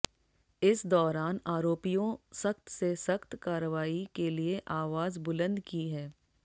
इस दौरान आरोपियों सख्त से सख्त कारवाई के लिए आवाज बुलंद की है